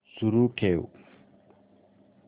सुरू ठेव